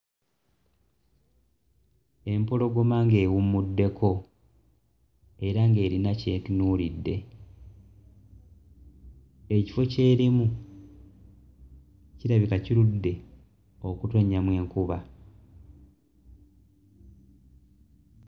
Empologoma ng'ewummuddeko era ng'erina ky'etunuulidde ekifo ky'erimu kirabika kirudde okutonnyamu enkuba.